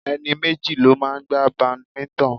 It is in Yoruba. Ẹni méjì ló máa ń gbá badminton.